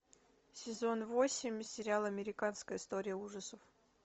сезон восемь сериал американская история ужасов